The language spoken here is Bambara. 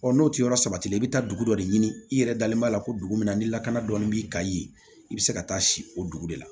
n'o tɛ yɔrɔ sabatilen i bɛ taa dugu dɔ de ɲini i yɛrɛ dalen b'a la ko dugu min na ni lakana dɔɔni b'i kan yen i bɛ se ka taa si o dugu de la